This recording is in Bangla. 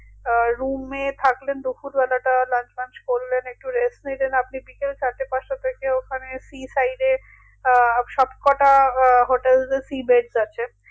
আহ room এ থাকলেন দুফুর বেলাটা lunch ফাঞ্ছ করলেন একটু rest নিলেন আপনি বিকেল চারটে পাঁচটা থেকে ওখানে sea side এ আহ সবকটা আহ hotels এ sea bed আছে